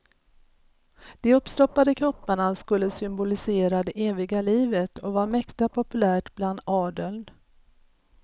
De uppstoppade kropparna skulle symbolisera det eviga livet och var mäkta populärt bland adeln.